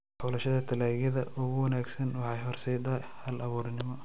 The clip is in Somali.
Xulashada dalagyada ugu wanaagsan waxay horseedaa hal-abuurnimo.